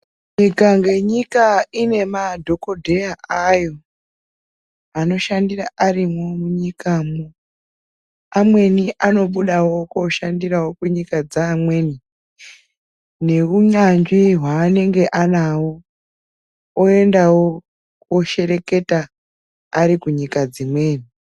Nyika ngenyika ine madhokodheya ayo anoshandira arimwo munyikamwo. Amweni anobudawo kooshandirawo kunyika dzeamweni neunyanzvi hwaanenge anahwo oendawo kooshereketa ari kunyika dzimweni.